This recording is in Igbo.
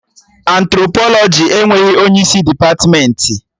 Antropolọjị enweghị onye isi depatmentị